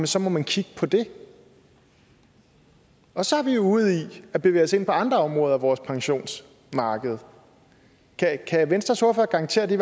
så må man kigge på det og så er vi ude i at bevæge os ind på andre områder af vores pensionsmarked kan venstres ordfører garantere at det